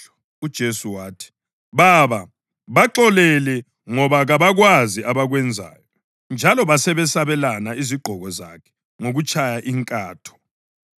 UJesu wathi, “Baba, baxolele, ngoba kabakwazi abakwenzayo.” Njalo basebesabelana izigqoko zakhe ngokutshaya inkatho.